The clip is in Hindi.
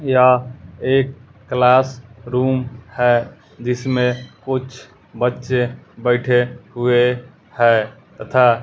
यह एक क्लासरूम है जिसमें कुछ बच्चे बैठे हुए है तथा --